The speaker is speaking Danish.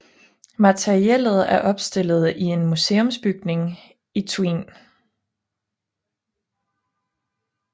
Materiellet er opstillet i en museumsbygning i Thuin